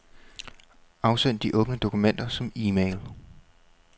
Afsend de åbne dokumenter som e-mail.